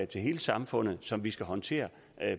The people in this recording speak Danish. til hele samfundet som vi skal håndtere